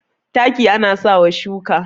taki ana sa wa shuka